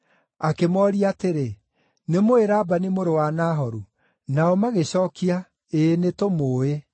Akĩmooria atĩrĩ, “Nĩ mũũĩ Labani mũrũ wa Nahoru?” Nao magĩcookia “Ĩĩ, nĩ tũmũũĩ.”